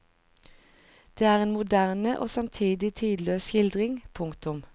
Det er en moderne og samtidig tidløs skildring. punktum